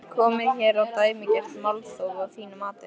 Er komið hér á dæmigert málþóf að þínu mati?